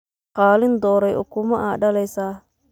Qalin doreye ukuma aa dalesa.